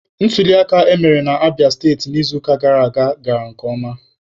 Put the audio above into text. Ntuliaka emere na Abịa steti n'izuụka gara aga gara nke ọma.